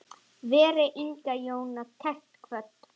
Veri Inga Jóna kært kvödd.